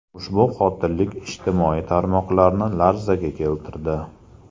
Ushbu qotillik ijtimoiy tarmoqlarni larzaga keltirdi.